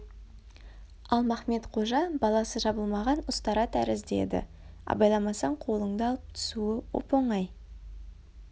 ал махмед-қожа баласы жабылмаған ұстара тәрізді еді абайламасаң қолыңды алып түсуі оп-оңай